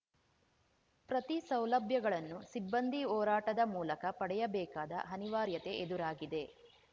ಪ್ರತಿ ಸೌಲಭ್ಯಗಳನ್ನೂ ಸಿಬ್ಬಂದಿ ಹೋರಾಟದ ಮೂಲಕ ಪಡೆಯಬೇಕಾದ ಅನಿವಾರ್ಯತೆ ಎದುರಾಗಿದೆ